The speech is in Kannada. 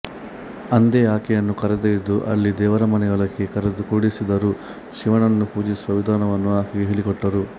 ಅಂದೇ ಆಕೆಯನ್ನು ಕರೆದೊಯ್ದು ಅಲ್ಲಿ ದೇವರಮನೆಯೊಳಕ್ಕೆ ಕರೆದು ಕೂಡಿಸಿದರು ಶಿವನನ್ನು ಪೂಜಿಸುವ ವಿಧಾನವನ್ನು ಆಕೆಗೆ ಹೇಳಿಕೊಟ್ಟರು